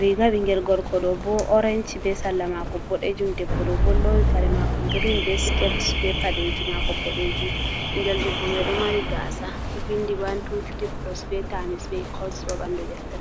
riga ɓingel gorko ɗo bo oranchi be salla mako ɓodejum debbo ɗo bo lowi kare mako gren, ɓe sket be paɗeji mako ɓodejum ɓingel debbo mai ɗo mari gasa ɗo vindi wan, two, tri, plos be tamis be ecals ha ɓanɗu deftere.